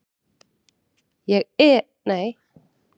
Ég var að koma inn